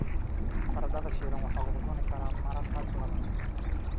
Baradhada shiilan waxaa lagu cuni karaa maraqa labaad.